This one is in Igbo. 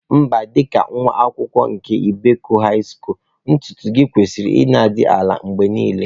Mba, dị ka nwa akwụkwọ nke Ibeku High Skulu, ntutu gi kwesịrị ịdị na-adị ala mgbe niile